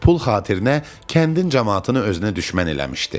Pul xatirinə kəndin camaatını özünə düşmən eləmişdi.